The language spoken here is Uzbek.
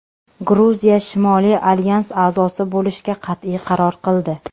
Gruziya Shimoliy alyans a’zosi bo‘lishga qat’iy qaror qildi.